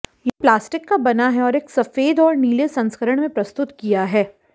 यह प्लास्टिक का बना है और एक सफेद और नीले संस्करण में प्रस्तुत किया है